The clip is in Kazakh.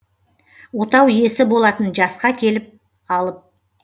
отау иесі болатын жасқа келіп алып